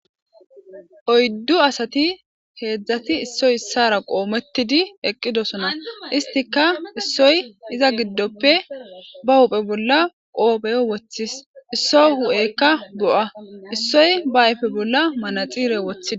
oyddu asati heedzdzati issoy issara qoomettidi eqqidosona. istika issoy iza giddoppe ba huphe bolla qoopheyo woththis. isso hu'eykka bo'a issoy ba ayfe bolla manaxire woththis.